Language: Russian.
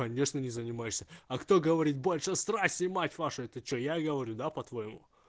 конечно не занимаешься а кто говорит больше страсти мать вашу это что я говорю да по-твоему